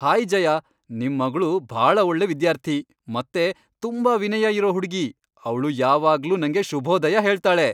Hi Jaya, ನಿಮ್ ಮಗ್ಳು ಭಾಳ ಒಳ್ಳೆ ವಿದ್ಯಾರ್ಥಿ ಮತ್ತೆ ತುಂಬಾ ವಿನಯ ಇರೋ ಹುಡ್ಗಿ. ಅವ್ಳು ಯಾವಾಗ್ಲೂ ನಂಗೆ ಶುಭೋದಯ ಹೇಳ್ತಾಳೆ.